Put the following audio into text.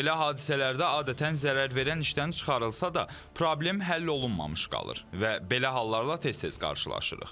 Belə hadisələrdə adətən zərər verən işdən çıxarılsa da, problem həll olunmamış qalır və belə hallarla tez-tez qarşılaşırıq.